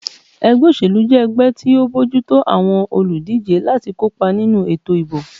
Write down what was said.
Ẹgbẹ́ òṣèlú jẹ́ ẹgbẹ́ tó ń bójú tó àwọn olùdíjé láti kópa nínú ètò ìbò